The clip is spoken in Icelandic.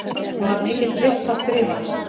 Hún var mikill listaskrifari.